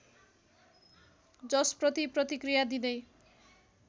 जसप्रति प्रतिक्रिया दिँदै